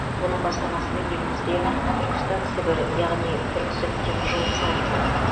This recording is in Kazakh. оның бастамасымен елімізде түркістан сібір яғни түркісіб теміржолы салынған